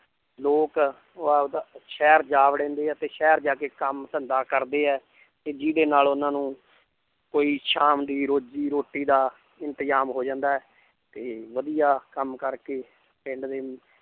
ਲੋਕ ਆਪਦਾ ਸ਼ਹਿਰ ਜਾ ਵੜੇਂਦੇ ਹੈ ਤੇ ਸ਼ਹਿਰ ਜਾ ਕੇ ਕੰਮ ਧੰਦਾ ਕਰਦੇ ਹੈ ਤੇ ਜਿਹਦੇ ਨਾਲ ਉਹਨਾਂ ਨੂੰ ਕੋਈ ਸ਼ਾਮ ਦੀ ਰੋਜੀ ਰੋਟੀ ਦਾ ਇੰਤਜ਼ਾਮ ਹੋ ਜਾਂਦਾ ਹੈ ਤੇ ਵਧੀਆ ਕੰਮ ਕਰਕੇ ਪਿੰਡ ਦੇ